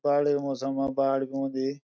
बाड़े मौसम म बाड़ भी औंदी।